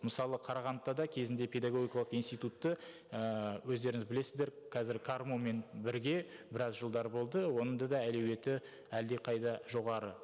мысалы қарағандыда да кезінде педагогикалық институтты ііі өздеріңіз білесіздер қазір қарму мен бірге біраз жылдар болды оның да да әлеуеті әлдеқайда жоғары